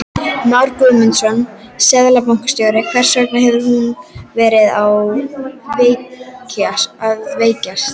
Már Guðmundsson, seðlabankastjóri: Hvers vegna hefur hún verið að veikjast?